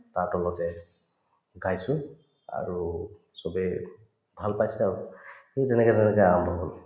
তাৰ তলতে গাইছো আৰু চবেই ভাল পাইছে আৰু সেই তেনেকে ধৰণে যে আৰম্ভ হল